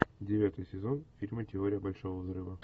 девятый сезон фильма теория большого взрыва